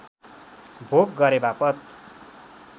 भोग गरेवापत